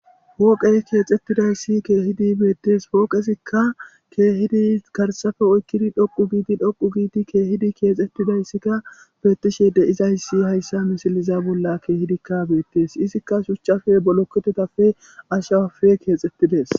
Poqqe keexetiddayiss keehidi beethees. Poqqezikka keehidd garsappe ooyqqidi dhoqqu giidi dhoqqu giidi keehidi keexxetidayssakka bethishe dizzayssakka haayissa missleza bolla keehidd beethees. Izzikka shuchchappe, billokethethappe, aashawappe kexxethidees.